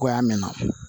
Goya mɛn